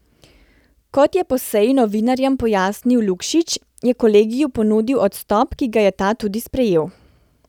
Kot je po seji novinarjem pojasnil Lukšič, je kolegiju ponudil odstop, ki ga je ta tudi sprejel.